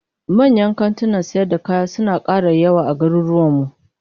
Manyan kantunan sayar da kaya suna kara yawa a garuruwan mu